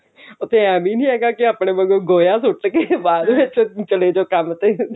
ਉੱਥੇ ਇਹ ਵੀ ਹੈਗਾ ਕਿ ਆਪਣੇ ਵਾਂਗੂੰ ਗੋਹਾ ਸੁੱਟ ਕੇ ਬਾਅਦ ਵਿੱਚ ਚਲੇ ਜਾਓ ਕੰਮ ਤੇ